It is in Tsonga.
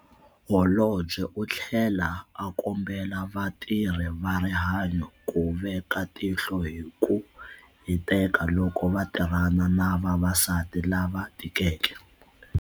Holobye u tlhele a kombela vatirhi va rihanyo ku veka tihlo hi ku hiteka loko va tirhana na vavasati lava tikeke.